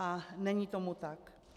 A není tomu tak.